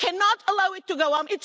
We cannot allow it to go on.